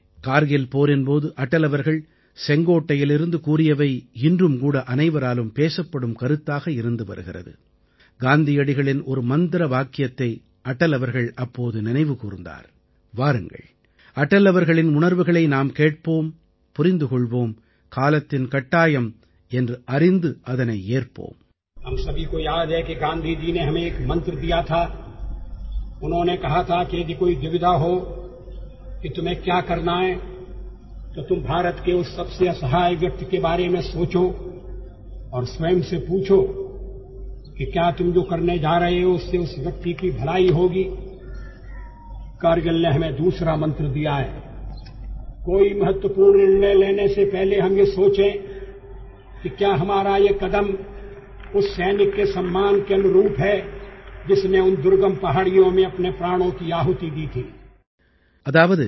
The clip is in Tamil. காந்தியடிகள் நம்மனைவருக்கும் ஒரு மந்திரத்தை அளித்தார் என்பது நம்மனைவருக்கும் நினைவிருக்கிறது